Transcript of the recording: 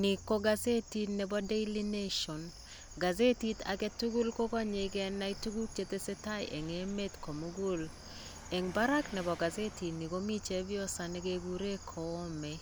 Nii kokosetit nebo daily nation kosetit agetukuk kokonyeee kenai tukuk chetesetai en emet komukul, en barak nebo kosetinii komii chepyoso nekekuren koome,